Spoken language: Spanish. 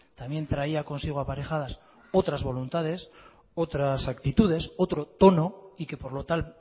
también traía consigo aparejadas otras voluntades otras actitudes otro tono y que por lo tal